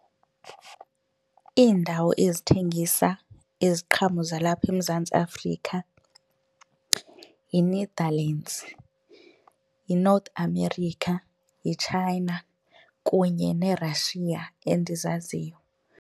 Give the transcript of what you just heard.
Iindawo ezithengisa iziqhamo zalapha eMzantsi Afrika yiNetherlands, yiNorth America, yiChina kunye neRussia endizaziyo.